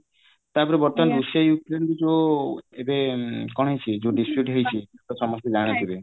ବର୍ତ୍ତମାନ ଯୋଉ ଏବେ କଣ ହେଇଛି ଯୋଉ distribute ହେଇଛି